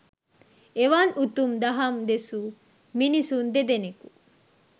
එවන් උතුම් දහම් දෙසූ මිනිසුන් දෙදෙනෙකු